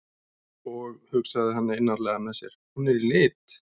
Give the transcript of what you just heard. Og, hugsaði hann einarðlega með sér, hún er í lit.